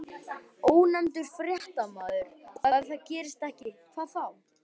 Ónefndur fréttamaður: Og ef það gerist ekki, hvað þá?